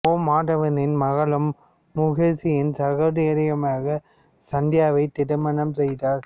ஓ மாதவனின் மகளும் முகேஷின் சகோதரியுமாகிய சந்தியாவை திருமணம் செய்தார்